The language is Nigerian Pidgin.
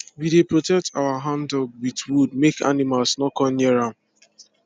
we dey protect our handdug with wood make animals no come near am